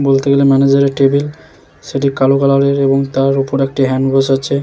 বলতে গেলে ম্যানেজারের টেবিল । সেটি কালো কালারের এবং তার উপর একটি হ্যান্ড ওয়াশ আছে ।